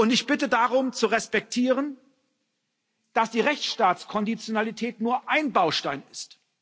Ich bitte darum, zu respektieren, dass die Rechtsstaatskonditionalität nur ein Baustein ist.